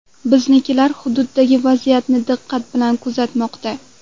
Biznikilar hududdagi vaziyatni diqqat bilan kuzatmoqda.